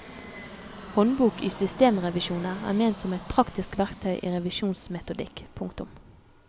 Håndbok i systemrevisjoner er ment som et praktisk verktøy i revisjonsmetodikk. punktum